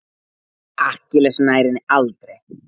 Akkilles nær henni aldrei.